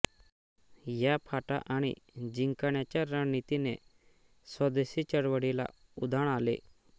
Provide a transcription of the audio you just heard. या फाटा आणि जिंकण्याच्या रणनीतीने स्वदेशी चळवळीला उधाण आले